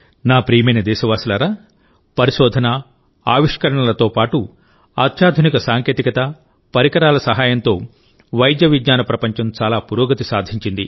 నా ప్రియమైన దేశవాసులారాపరిశోధన ఆవిష్కరణలతో పాటు అత్యాధునిక సాంకేతికత పరికరాల సహాయంతో వైద్య విజ్ఞాన ప్రపంచం చాలా పురోగతి సాధించింది